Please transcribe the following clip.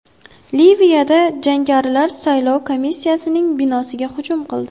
Liviyada jangarilar saylov komissiyasining binosiga hujum qildi.